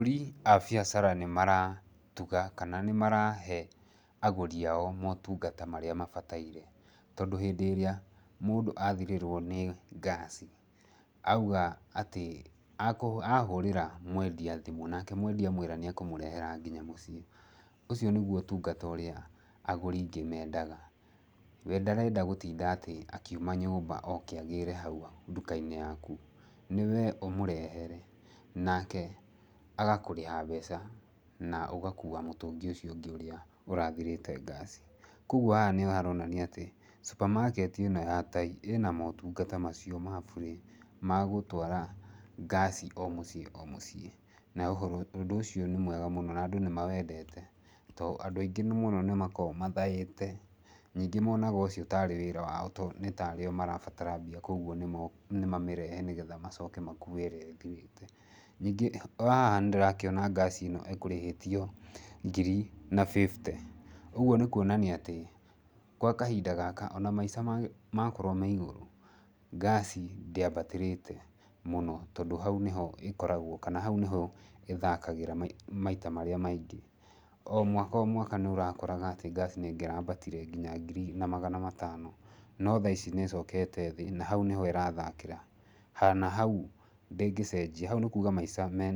Ahũri a biacara nĩ maratuga kana nĩ marahe agũri ao motungata marĩa mabataire. Tondũ hĩndĩ ĩrĩa mũndũ athirĩrwo nĩ ngaci auga atĩ, ahũrĩra mwendia thimũ, nake mwendia amwĩra nĩ ekũmũrehera nginya mũciĩ, ũcio nĩguo ũtungata ũrĩa agũri aingĩ mendaga. We ndarenda gũtinda atĩ akiuma nyũmba oke agĩre hau nduka-inĩ yaku, nĩ we ũmũrehere nake agakũrĩha mbeca na ũgakua mũtũngi ũcio ungĩ ũrĩa ũrathirĩte ngaci. Kwoguo haha nĩ haronania atĩ supermarket ĩno ya tai ĩna motungata macio ma burĩ magũtwara ngaci o mũciĩ o mũciĩ, na ũndũ ũcio nĩ mwega mũno na andũ nĩ mawendete, tondũ andũ aingĩ mũno nĩ makoragwo mathaĩte ningĩ monaga ũcio tarĩ wĩra wao, nĩ ta arĩ o marabatara mbia. Kwoguo nĩ mamĩrehe nĩgetha macoke makue ĩrĩa ĩthirĩte. Ningĩ haha nĩ ndĩrona ngaci ĩyo ĩkũrĩhĩtio ngiri na fifty, ũguo nĩ kuonania atĩ gwa kahinda gaka ona maisha makorwo me igũrũ, ngaci ndĩambatĩrĩte mũno. Tondũ hau nĩho ĩkoragwo kana hau nĩho ĩthakagĩra maita marĩa maingĩ. O mwaka o mwaka nĩ ũrakoraga atĩ ngaci nĩ ĩngĩrambatire nginya ngiri na magana matano. No thaa ici nĩ ĩcokete thĩ na hau nĩho nĩho ĩrathakĩra. Na hau ndĩngĩcenjia, hau nĩ kuga maisha me...